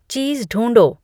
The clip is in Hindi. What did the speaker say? चीज़ ढूँढो